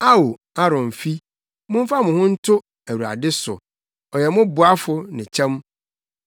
Ao Aaronfi, momfa mo ho nto Awurade so, ɔyɛ mo boafo ne kyɛm.